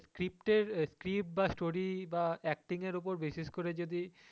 script এর বা story বা acting এর ওপর basis করে যদি,